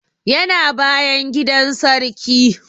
Yana bayan gidan sarki